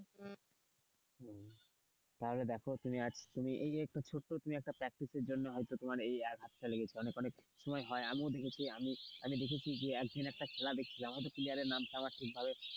তাহলে দেখো তুমি আজ তুমি এই যে ছোট্ট একটা pratice এর জন্য তোমার হয়তো এই আঘাত লেগেছিল অনেক অনেক সময় হয় আমিও আমি দেখেছি এই দেখেছি সেই দিন একটা খেলা দেখছিলাম player এর নাম ঠিকভাবে,